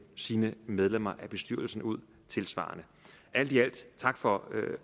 sine medlemmer af bestyrelsen ud tilsvarende alt i alt tak for